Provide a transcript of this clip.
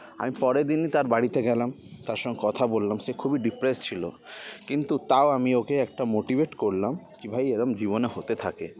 আমি পরের দিনই তার বাড়িতে গেলাম তার সঙ্গে কথা বললাম সে খুবই depressed ছিল কিন্তু তাও আমি ওকে একটা motivate করলাম কি ভাই এরম জীবনে হতে থাকে